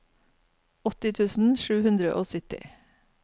åtti tusen sju hundre og sytti